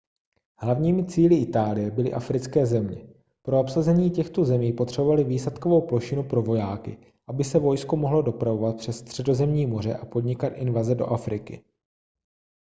hlavními cíli itálie byly africké země pro obsazení těchto zemí potřebovali výsadkovou plošinu pro vojáky aby se vojsko mohlo dopravovat přes středozemní moře a podnikat invaze do afriky